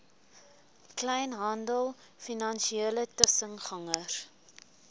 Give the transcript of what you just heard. kleinhandel finansiële tussengangers